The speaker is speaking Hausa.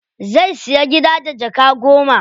Zai siya gida da jaka goma.